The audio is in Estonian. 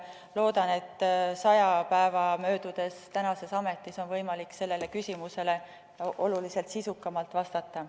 Loodan, et kui mul on ametis möödunud sada päeva, siis on võimalik sellele küsimusele oluliselt sisukamalt vastata.